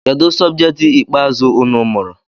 Kedụ sọbjet ikpeazụ unu mụrụ?